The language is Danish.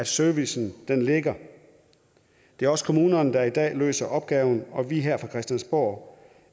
servicen ligger det er også kommunerne der i dag løser opgaven og vi her fra christiansborg